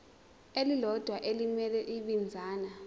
elilodwa elimele ibinzana